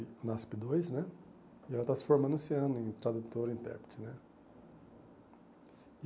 UNASP dois né E ela está se formando esse ano em tradutora e intérprete né.